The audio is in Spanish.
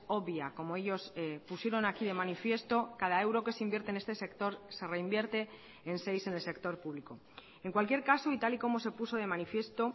obvia como ellos pusieron aquí de manifiesto cada euro que se invierte en este sector se reinvierte en seis en el sector público en cualquier caso y tal y como se puso de manifiesto